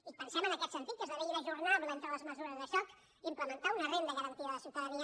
i pensem en aquest sentit que esdevé inajornable entre les mesures de xoc implementar una renda garantida de ciutadania